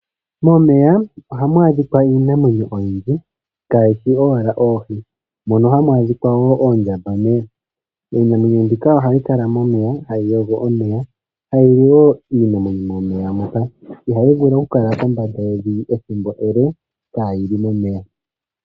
Momeya oha mu adhika iinamwenyo oyindji kaayi shi owala oohi. Ohamu adhika oondjambameya . Iinamwenyo mbika ohayi kala momeya , ha yi yogo omeya, ta yi li wo iinamwenyo momeya. Iinamwenyo mbika ohayi vulu oku kala kombanda ethimbo ele kaayi li momeya.